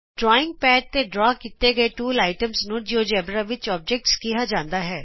drawing pad ਤੇ ਖਿੱਚੇ ਗਏ ਸਾਰੇ ਟੂਲ ਆਈਟਮਜ਼ ਨੂੰ ਜਿਓਜੇਬਰਾ ਵਿਚ ਔਬਜੈਕਟਜ਼ ਕਿਹਾ ਜਾਂਦਾ ਹੈ